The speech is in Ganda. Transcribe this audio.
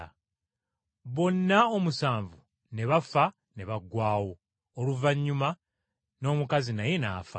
Bonna omusanvu ne bafa ne baggwaawo. Oluvannyuma n’omukazi naye n’afa.